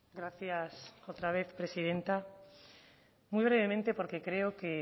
gracias otra vez presidenta muy brevemente porque creo que